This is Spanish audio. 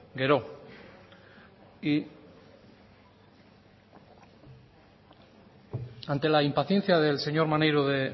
gero y ante la impaciencia del señor maneiro de